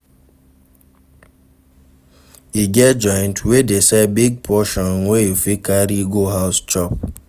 E get joint wey dey sell big portion wey you fit carry go house chop